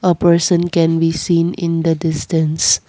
a person can be seen in the distance.